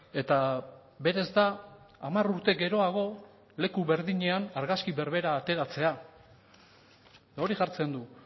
eta berez da hamar urte geroago leku berdinean argazki berbera ateratzea hori jartzen du